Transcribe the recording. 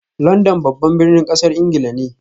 London babban birnin kasar Ingila ne